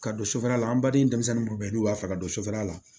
Ka don sofɛrɛn la an baden denmisɛnnin minnu bɛ yen n'u b'a fɛ ka don sufɛla la